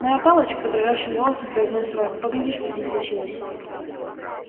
моя палочка дрожащим голосом произнёс рон погляди что с ней случилось